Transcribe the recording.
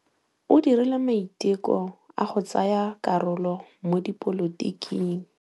O dirile maitekô a go tsaya karolo mo dipolotiking.